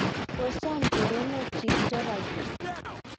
kosom choronoikchich torite